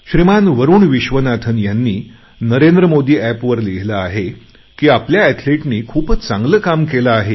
श्रीमान वरूण विश्वनाथन ह्यांनी नरेंद्र मोदी एपवर लिहिले आहे की आपल्या एथलीटनी खूपच चांगले काम केले आहे